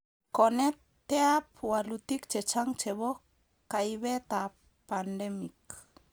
Koneteab walutik chechang chebo kaibetab pandemic